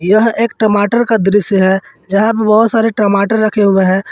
यह एक टमाटर का दृश्य है जहां पे बहुत सारे टमाटर रखे हुए हैं।